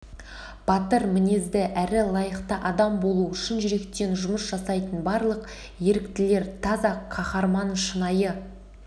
батыр мінезді әрі лайықты адам болу шын жүректен жұмыс жасайтын барлық еріктілер таза қаһарман шынайы